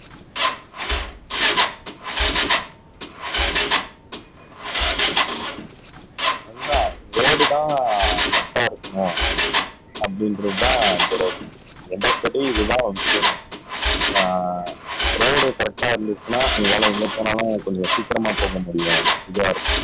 அதுதான் ரோடுதான் பிரச்சினையா இருக்குமோ அப்படிங்குறதுதான் இப்ப டவுட் என்னது படி இதான் விஷயமே ஆஹ் ரோடு கரெக்டா இருந்திச்சுனா எங்கால எங்க போனாலும் கொஞ்சம் சீக்கிரமா போக முடியும் இதான்